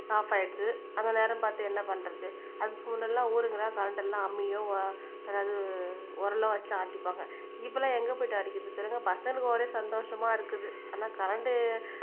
app ஆயிடுச்சு அந்த நேரம் பார்த்து என்ன பண்றது அதுக்கு முன்னலாம் ஊருங்க கரண்ட் எல்லாம் அம்மியும் அதாவது உரலும் வச்சு ஆட்டிப்பாங்க இப்பெல்லாம் எங்க போயிட்டு அடிக்கிறது சொல்லுங்க பசங்களுக்கு ஒரே சந்தோஷமா இருக்குது ஆனா கரண்ட்